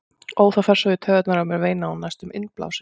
Ó, það fer svo í taugarnar á mér, veinaði hún næstum innblásin.